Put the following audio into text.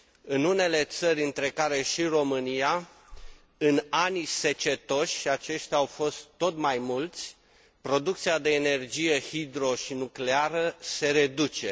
În unele țări, între care și România, în ani secetoși și aceștia au fost tot mai mulți producția de energie hidro și nucleară se reduce.